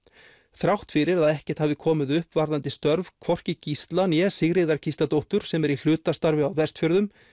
þrátt fyrir að ekkert hafi komið upp varðandi störf hvorki Gísla né Sigríðar Gísladóttur sem er í hlutastarfi á Vestfjörðum